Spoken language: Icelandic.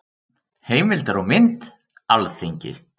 Heimildir og mynd: Alþingi.